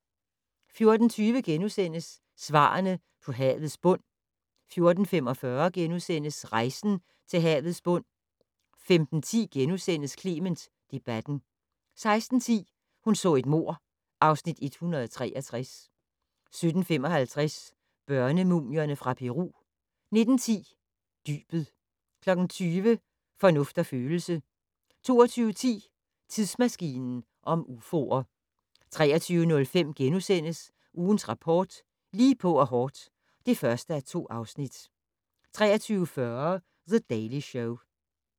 14:20: Svarene på havets bund * 14:45: Rejsen til havets bund * 15:10: Clement debatten * 16:10: Hun så et mord (Afs. 163) 17:55: Børnemumierne fra Peru 19:10: Dybet 20:00: Fornuft og følelse 22:10: Tidsmaskinen om ufoer 23:00: Ugens Rapport: Lige på og hårdt (1:2)* 23:40: The Daily Show